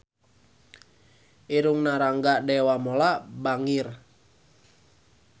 Irungna Rangga Dewamoela bangir